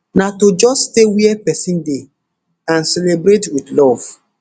na to just stay wia pesin dey and celebrate wit love